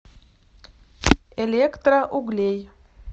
электроуглей